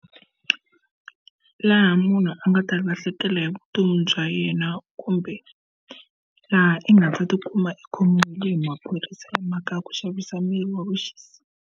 Laha munhu a nga ta lahlekela hi vutomi bya yena kumbe laha i nga ta tikuma i khomiwile hi maphorisa hi mhaka ya ku xavisa mirhi ya vuxisi.